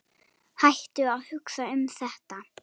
Hættu að hugsa um þetta.